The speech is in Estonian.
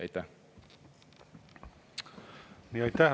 Aitäh!